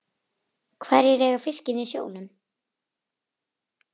Hverjir eiga fiskinn í sjónum?